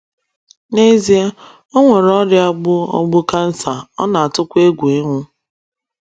N'ezie,o nwere ọria gbụ ogbụ cancer, ona atụkwa egwụ ịnwụ